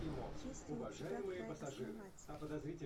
есть ли у тебя край основателей